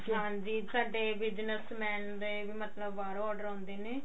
ਹਾਂਜੀ ਸਾਡੇ business man ਦੇ ਵੀ ਮਤਬ ਬਾਹੋਂ order ਆਉਂਦੇ ਨੇ